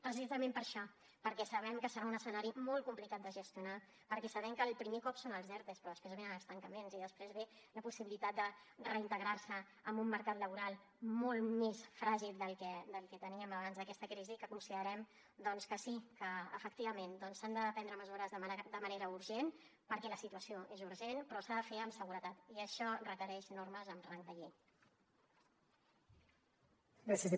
precisament per això perquè sabem que serà un escenari molt complicat de gestionar perquè sabem que el primer cop són els ertos però després venen els tancaments i després ve la possibilitat de reintegrar se en un mercat laboral molt més fràgil del que teníem abans d’aquesta crisi que considerem doncs que sí que efectivament s’han de prendre mesures de manera urgent perquè la situació és urgent però s’ha de fer amb seguretat i això requereix normes amb rang de llei